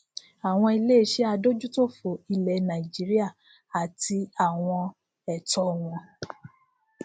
àwọn iléiṣẹ adójútòfò ilẹ nàìjíríà àti àwọn ẹtọ wọn